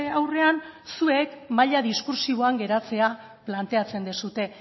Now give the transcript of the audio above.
aurrean zuek maila diskurtsiboan geratzea planteatzen duzue